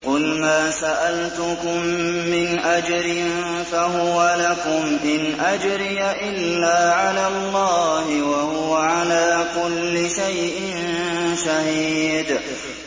قُلْ مَا سَأَلْتُكُم مِّنْ أَجْرٍ فَهُوَ لَكُمْ ۖ إِنْ أَجْرِيَ إِلَّا عَلَى اللَّهِ ۖ وَهُوَ عَلَىٰ كُلِّ شَيْءٍ شَهِيدٌ